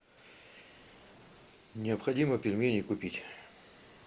необходимо пельмени купить